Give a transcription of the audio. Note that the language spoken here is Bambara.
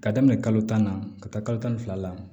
Ka daminɛ kalo tan na ka taa kalo tan ni fila la